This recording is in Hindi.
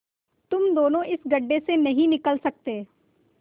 तुम दोनों इस गढ्ढे से नहीं निकल सकते